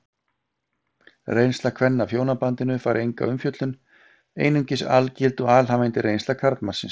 Reynsla kvenna af hjónabandinu fær enga umfjöllun, einungis algild og alhæfandi reynsla karlmannsins.